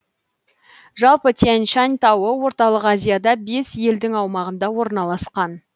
жалпы тянь шань тауы орталық азияда бес елдің аумағында орналасқан